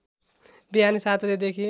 बिहान ७ बजेदेखि